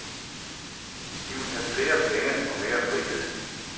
De vil have flere penge og mere frihed.